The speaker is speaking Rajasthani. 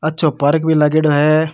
अच्छो पार्क भी लागेड़ा है।